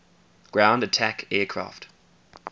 ground attack aircraft